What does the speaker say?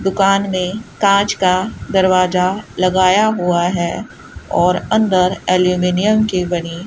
दुकान में कांच का दरवाजा लगाया हुआ है और अंदर अल्युमिनियम की बनी --